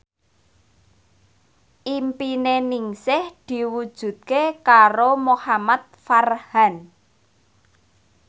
impine Ningsih diwujudke karo Muhamad Farhan